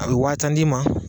A bɛ waati tan d'i ma.